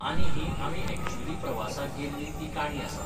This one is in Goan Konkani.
आनी ही आमी एक्च्युली प्रवासाक गेल्ली ती काणी आसा.